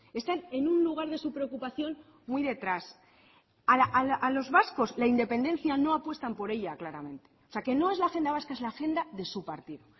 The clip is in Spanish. están en un lugar de su preocupación muy detrás a los vascos la independencia no apuestan por ella claramente o sea que no es la agenda vasca es la agenda de su partido